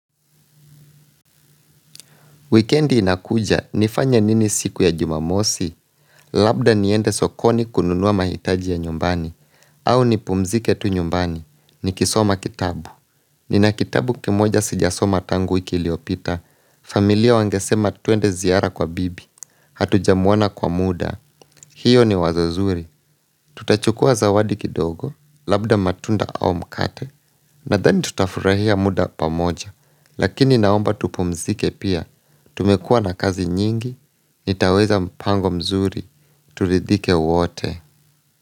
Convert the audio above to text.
Wikendi inakuja, nifanye nini siku ya jumamosi, labda niende sokoni kununua mahitaji ya nyumbani, au nipumzike tu nyumbani, nikisoma kitabu. Nina kitabu kimoja sijasoma tangu wiki iliopita, familia wangesema twende ziara kwa bibi, hatujamwona kwa muda, hiyo ni wazo zuri. Tutachukua zawadi kidogo, labda matunda au mkate, na then tutafurahia muda pamoja, lakini naomba tupumzike pia, tumekua na kazi nyingi, nitaweza mpango mzuri, tulidhike wote.